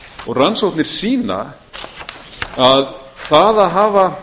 og rannsóknir sýna að það að hafa